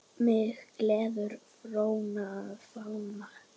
Mig gleður flóran og fánan.